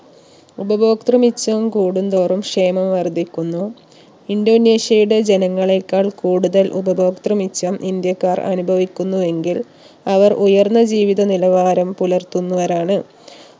ഉപഭോക്തൃ മിച്ചം കൂടുന്തോറും ക്ഷേമം വർധിക്കുന്നു ഇൻഡോനേഷ്യയുടെ ജനങ്ങളെക്കാൾ കൂടുതൽ ഉപഭോക്തൃ മിച്ചം ഇന്ത്യക്കാർ അനുഭവിക്കുന്നു എങ്കിൽ അവർ ഉയർന്ന ജീവിത നിലവാരം പുലർത്തുന്നവരാണ്